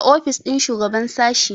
a ofis ɗin shugaban sashi